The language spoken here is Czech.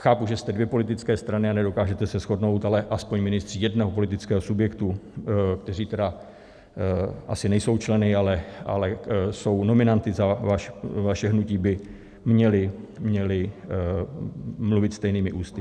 Chápu, že jste dvě politické strany a nedokážete se shodnout, ale aspoň ministři jednoho politického subjektu, kteří tedy asi nejsou členy, ale jsou nominanty za vaše hnutí, by měli mluvit stejnými ústy.